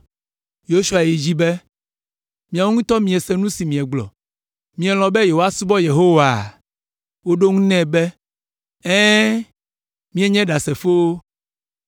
Yosua yi edzi be, “Miawo ŋutɔ miese nu si miegblɔ. Mielɔ̃ be yewoasubɔ Yehowaa?” Woɖo eŋu be, “Ɛ̃, míenye ɖasefowo.”